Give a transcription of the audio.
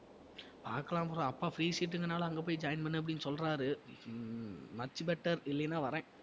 பாக்கலாம் bro அப்பா free seat ங்றதனால அங்க போய் join பண்ணு அப்படின்னு சொல்றாரு ஹம் much better இல்லைனா வர்றேன்